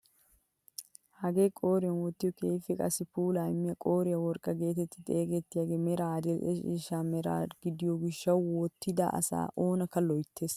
Hagee qooriyaan wottiyoo keehippe qassi puulaa immiyaa qooriyaa worqqaa getetti xeegettiyaagee meran adil'e ciishsha mera gidiyoo gishshawu wotida asaa oonakka loyttees!